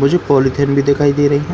मुझे पॉलिथीन भी दिखाई दे रही है।